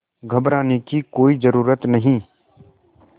घबराने की कोई ज़रूरत नहीं